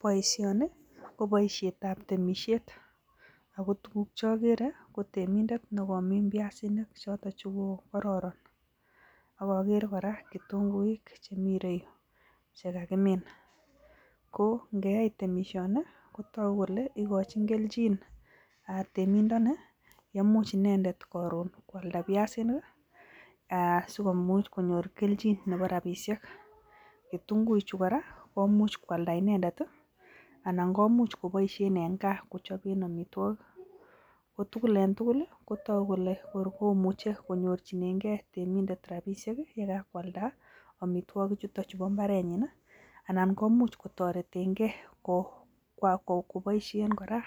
boishoni ko boisheet ab temisheet, ago tuguk chogere ko temindeet negomiin byaasinik choton chegoo kororon ak ogere koraa ketunguik chemii ireyuu chegagimin, koo ngeyai temishooni kotogu kele igochin kelchin temindonii yemuuch inendeet karoon kwalda byaasinik iih um aah sigomuuch konyoor kelchin nebo rabisheek, ketunguik chu koraa komuch kwalda inendet iih anan komuch koboisheen en kaa kochoben omitwogik, ko tugul en tugul kotogu kole koor komuche konyorchinegee temindet rabisheek iih yegakwaalda omitwogiik chuton chebo imbareet nyiin iih anan komuch kotoretengee koboisheen koraa